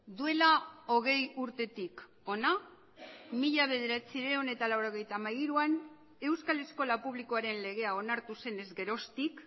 duela hogei urtetik hona mila bederatziehun eta laurogeita hamairuan euskal eskola publikoaren legea onartu zenez geroztik